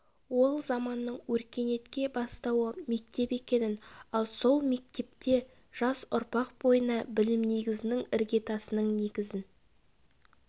ол заманның өркениетке бастауы мектеп екенін ал сол мектепте жас ұрпақ бойына білім негізінің іргетасының негізін